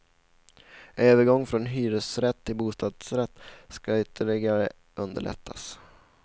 Övergång från hyresrätt till bostadsrätt skall ytterligare underlättas.